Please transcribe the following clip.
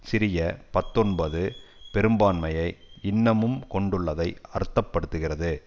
சிறிய பத்தொன்பது பெரும்பான்மையை இன்னமும் கொண்டுள்ளதை அர்த்த படுத்துகிறது